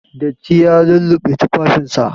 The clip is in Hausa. Datti ya lulluɓe tufafinsa.